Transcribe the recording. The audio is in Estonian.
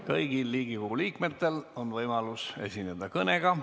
Kõigil Riigikogu liikmetel on võimalus esineda kõnega.